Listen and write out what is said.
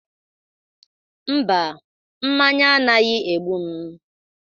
Mba, mmanya anaghị egbu m.